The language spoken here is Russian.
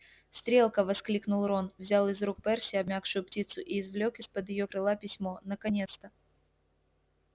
стрелка воскликнул рон взял из рук перси обмякшую птицу и извлёк из-под её крыла письмо наконец-то